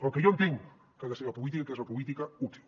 el que jo entenc que ha de ser la política que és la política útil